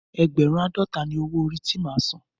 Ẹ́gbẹ̀rún àádọta ni owó orí ti máa san.